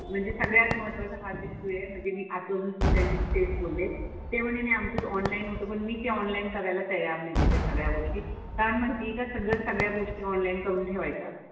म्हणजे सगळ्यात महत्त्वाचा हाच इश्यू आहे म्हणजे मी सुद्धा त्यांच्याशी तेच बोलले. ते म्हणे नाही आमचं ऑनलाईन होतं पण मी ते ऑनलाईन करायला तयार नाही आहे त्या सगळ्या गोष्टी. कारण माहिती आहे का सगळंच सगळ्या गोष्टी ऑनलाईन करून ठेवायच्या.